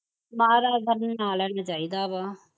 ਮਹਾਰਾਜ ਦਾ ਨਾਂ ਲੈਣਾ ਚਾਹੀਦਾ ਵਾ